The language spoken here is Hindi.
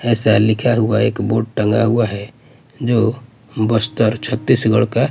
ऐसा लिखा हुआ एक बोर्ड टंगा हुआ हैं जो बस्तर छत्तीसगढ़ का--